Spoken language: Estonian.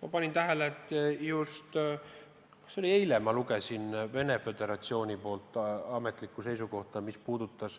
Ma panin tähele – lugesin seda vist eile – Venemaa Föderatsiooni ametlikku seisukohta, mis puudutab